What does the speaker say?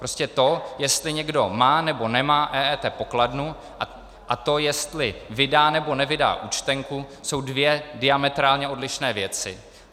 Prostě to, jestli někdo má, nebo nemá EET pokladnu, a to, jestli vydá, nebo nevydá účtenku, jsou dvě diametrálně odlišné věci.